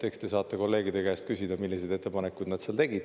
Eks te saate kolleegide käest küsida, milliseid ettepanekuid nad seal tegid.